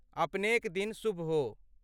अपनेक दिन शुभ हो।